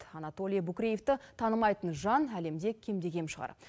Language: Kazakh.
анатолий букреевті танымайтын жан әлемде кемде кем шығар